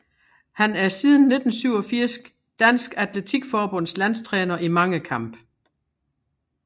Han er siden 1987 Dansk Atletik Forbunds landstræner i mangekamp